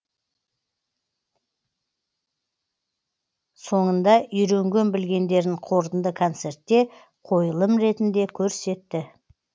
соңында үйренген білгендерін қорытынды концертте қойылым ретінде көрсетті